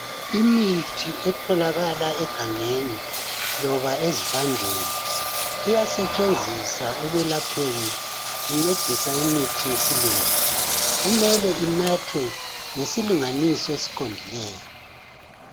Imithi etholakala egangeni loba ezivandeni iyasetshenziswa ekwalapheni incedisa imithi yesilungu kumele inathwe ngesilinganiso esiqondileyo.